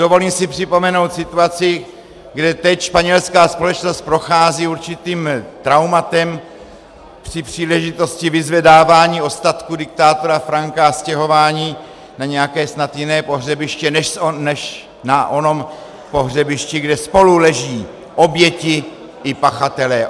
Dovolím si připomenout situaci, kde teď španělská společnost prochází určitým traumatem při příležitosti vyzvedávání ostatků diktátora Franka a stěhování na nějaké snad jiné pohřebiště než na onom pohřebišti, kde spolu leží oběti i pachatelé.